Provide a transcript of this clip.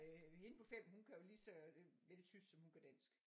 Hende på 5 hun kan jo lige så vel tysk som hun kan dansk